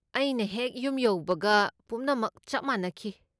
ꯑꯩꯅ ꯍꯦꯛ ꯌꯨꯝ ꯌꯧꯕꯒꯦ ꯄꯨꯝꯅꯃꯛ ꯆꯞ ꯃꯥꯟꯅꯈꯤ꯫